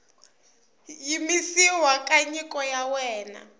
yimisiwa ka nyiko ya wena